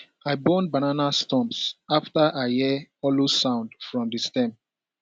i burn banana stumps after i hear hollow sound from di stem